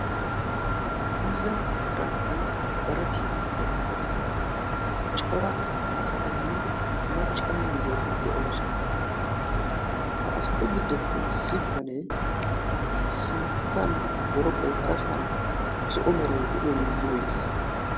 miizza taran woykko baratiyan cora asatinne macca miizzati de'oosona. ha asatu giddoppe issi bitane sinttan boroqoy harasan zo'o meray de'iyo miizziyo oykkis.